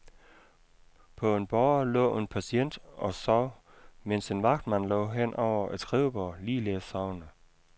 På en båre lå en patient og sov, mens en vagtmand lå hen over et skrivebord, ligeledes sovende.